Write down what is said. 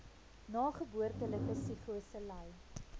nageboortelike psigose ly